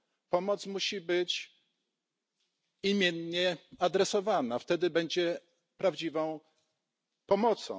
Pomoc musi być imiennie adresowana, wtedy będzie prawdziwą pomocą.